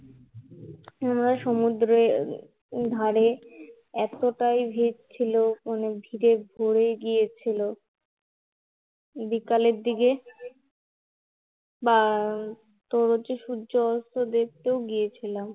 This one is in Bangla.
আমরা সমুদ্রের ধারে এতটাই ভীড় ছিলো যে ভীড়ে ভরে গিয়েছিলো, বিকালের দিকে বা তোর হচ্ছে সূর্যাস্তের দেখতেও গিয়েছিলাম